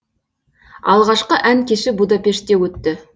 алғашқы ән кеші будапештте өтті